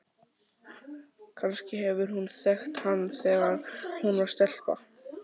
Kannski hefur hún þekkt hann þegar hún var stelpa?